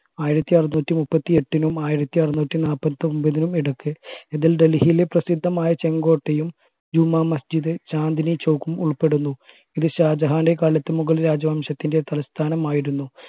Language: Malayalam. ആയിരത്തി അറുനൂറ്റി മുപ്പത്തി എട്ടിനും ആയിരത്തി അറുനൂറ്റി നാല്പത്തി ഒമ്പതിനും ഇടക്ക് ഇതിൽ ഡൽഹിയിലെ പ്രസിദ്ധമായ ചെങ്കോട്ടയും ജുമാ മസ്ജിദ് ചാന്ദിനി ചൗക് ഉൾപ്പെടുന്നു ഇത് ഷാജഹാന്റെ കാലത്തു മുഗൾ രാജവംശത്തിന്റെ തലസ്ഥാനം ആയിരുന്നു